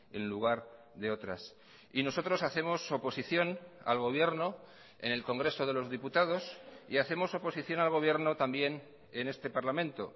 en lugar de otras y nosotros hacemos oposición al gobierno en el congreso de los diputados y hacemos oposición al gobierno también en este parlamento